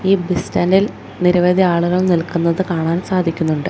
ഈ bus stand ഇൽ നിരവധി ആളുകൾ നിൽക്കുന്നത് കാണാൻ സാധിക്കുന്നുണ്ട്.